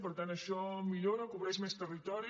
per tant això millora cobreix més territori